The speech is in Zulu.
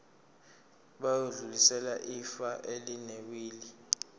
bayodlulisela ifa elinewili